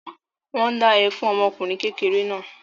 Wọ́n ń dá ẹ fún ọmọ ọkùnrin kékeré náà.